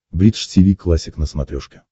бридж тиви классик на смотрешке